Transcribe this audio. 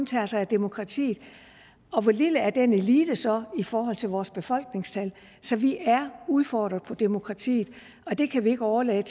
tager sig af demokratiet og hvor lille er den elite så i forhold til vores befolkningstal så vi er udfordret på demokratiet og det kan vi ikke overlade